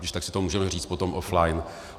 Když tak si to můžeme říct potom offline.